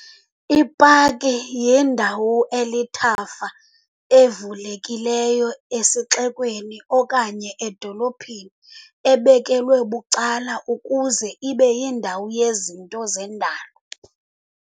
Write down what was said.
I-Paki yindawo elithafa elivulekileyo esixekweni okanye edolophini, ebekelwe bucala, ukuze ibe yindawo yezinto zendalo.